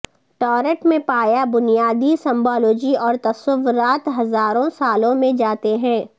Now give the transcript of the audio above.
tarot میں پایا بنیادی سمبالوجی اور تصورات ہزاروں سالوں میں جاتے ہیں